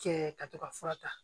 Cɛ ka to ka fura ta